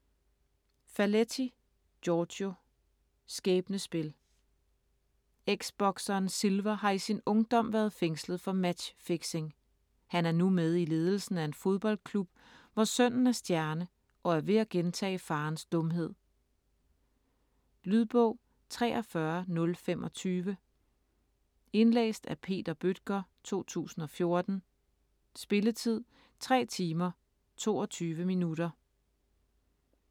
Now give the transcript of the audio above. Faletti, Giorgio: Skæbnespil Eksbokseren Silver har i sin ungdom været fængslet for matchfixing. Han er nu med i ledelsen af en fodboldklub, hvor sønnen er stjerne og er ved at gentage faderens dumhed. Lydbog 43025 Indlæst af Peter Bøttger, 2014. Spilletid: 3 timer, 22 minutter.